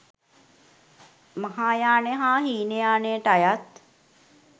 මහායාන හා හීනයානයට අයත්